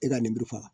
E ka ninmuru faga